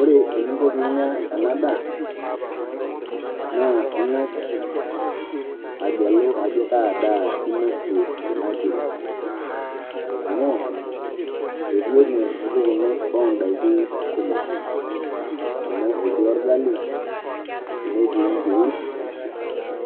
Ore eningo piinya ena daa naa ing'as agelu ajo kaa daa inosie kuna kiri amu etii ene mpukunot o ndaikin kumok, amu etii orgali, netii nkiri,